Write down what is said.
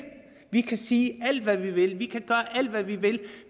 vi kan sige alt hvad vi vil vi kan gøre alt hvad vi vil